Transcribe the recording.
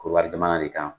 Korokara jamana de kan